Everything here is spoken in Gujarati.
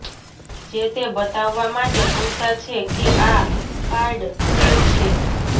જે તે બતાવવા માટે પુરતા છે કે આ કાર્ડ ફેક છે